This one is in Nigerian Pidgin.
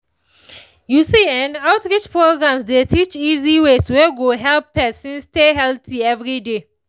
you see[um]outreach programs dey teach easy ways wey go help person stay healthy every day